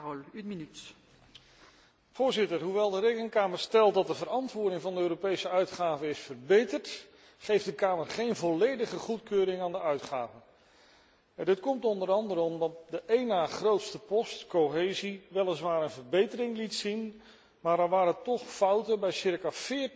Voorzitter, hoewel de Rekenkamer stelt dat de verantwoording van de Europese uitgaven is verbeterd, geeft de Kamer geen volledige goedkeuring aan de uitgaven. Dit komt onder meer omdat de op een na grootste post cohesie weliswaar een verbetering liet zien, maar er toch fouten waren bij circa 40 procent van de projecten